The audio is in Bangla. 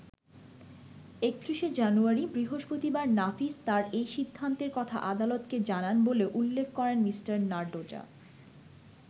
৩১শে জানুয়ারি বৃহস্পতিবার নাফিস তাঁর এই সিদ্ধান্তের কথা আদালতকে জানান বলেও উল্লেখ করেন মিঃ নারডোজা।